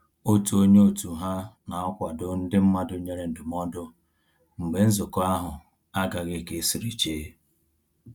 Otu onye òtù ha na-akwado ndị mmadụ nyere ndụmọdụ mgbe nzukọ ahụ agaghị ka esiri che